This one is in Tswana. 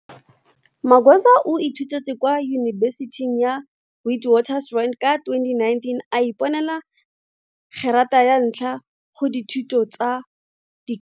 Magwaza o ithutetse kwa yubesithing ya Witwatersrand ka 2019, a iponela gerata ya ntlha go dithuto tsa di.